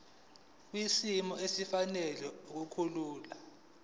kwisimo esifanele nokukhula